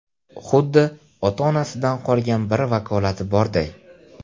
Xuddi ota-onasidan qolgan bir vakolati borday.